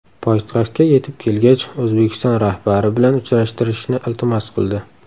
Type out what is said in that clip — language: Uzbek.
Poytaxtga yetib kelgach, O‘zbekiston rahbari bilan uchrashtirishni iltimos qildi.